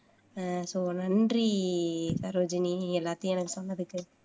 அஹ் நன்றி சரோஜினி எல்லாத்தையும் எனக்கு சொன்னதுக்கு